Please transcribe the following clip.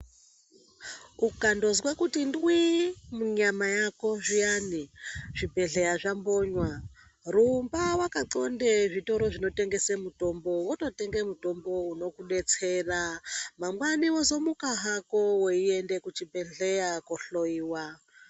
Ukandozwa kuti ndwii, munyama yako zviyani zvibhedhleya zvakonywa. Rumba vakatxonde muzvitoro zvinotengese mitombo vototenga mutombo unokubetsera. Mangwani vozomuka hako veiende kuchibhedhleya kohloiwa